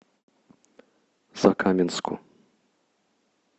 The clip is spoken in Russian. закаменску